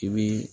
I bi